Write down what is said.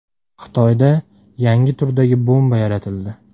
Xitoyda yangi turdagi bomba yaratildi.